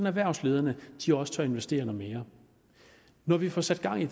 erhvervslederne også tør investere noget mere når vi får sat gang i